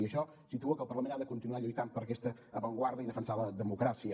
i això situa que el parlament ha de continuar lluitant per aquesta avantguarda i defensar la democràcia